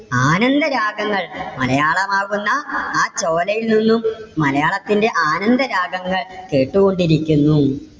ആനന്ദ രാഗങ്ങൾ. മലയാളമാകുന്ന ആ ചോലയിൽ നിന്നും മലയാളത്തിന്റെ ആനന്ദ രാഗങ്ങൾ കേട്ടുകൊണ്ട് ഇരിക്കുന്നു.